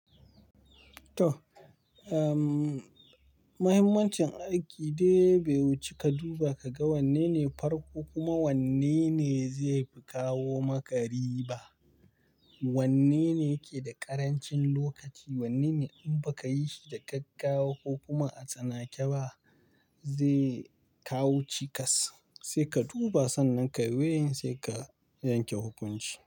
To, ehm, mahimmancin aiki dai bai wuce ka duba ka ga wanne ne farko kuma wanne ne zai fi kawo maka riba. Wanne ne yake da ƙarancin lokaci, wanne ne in ba ka yi shi da gaggawa ko kuma a tsanake ba zai kawo cikas, sai ka duba. Sannan ka yi way in sai ka yanke hukunci.